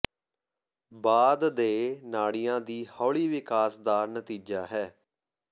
ਬਾਅਦ ਦੇ ਨਾੜੀਆਂ ਦੀ ਹੌਲੀ ਵਿਕਾਸ ਦਾ ਨਤੀਜਾ ਹੈ